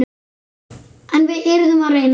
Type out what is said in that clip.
En við yrðum að reyna.